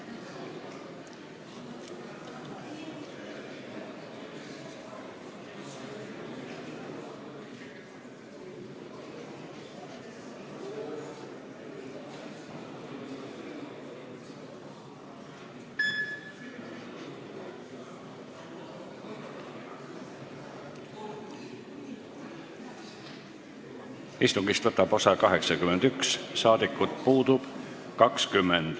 Kohaloleku kontroll Istungist võtab osa 81 rahvasaadikut, puudub 20.